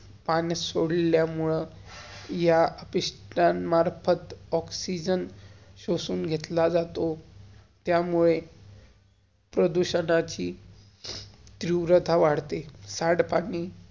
पाण्यात सोडल्या मुळं या पिश्तान्मर्फत ऑक्सीजन, सोशुन घेतला जातो. त्यामुळे वदते प्रदुशनाची त्रिव्रता वादते.